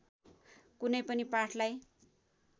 कुनै पनि पाठलाई